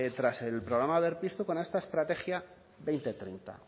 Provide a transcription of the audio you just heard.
tras el programa berpiztu con esta estrategia dos mil treinta